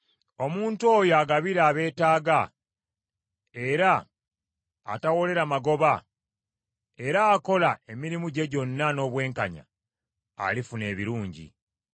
Omuntu oyo agabira abeetaaga, era tawolera magoba, era akola emirimu gye gyonna n’obwenkanya, alifuna ebirungi.